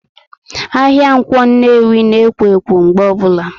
Ahịa Ǹkwọ Nnewi na ekwo ekwo mgbe obula